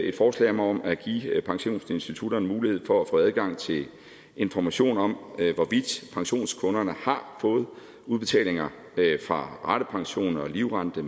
et forslag om om at give pensionsinstitutterne mulighed for at få adgang til information om hvorvidt pensionskunderne har fået udbetalinger fra ratepension og livrente